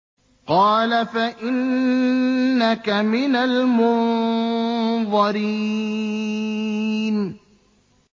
قَالَ فَإِنَّكَ مِنَ الْمُنظَرِينَ